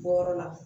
Wɔɔrɔ la